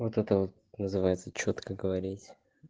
вот это вот называется чётко говорить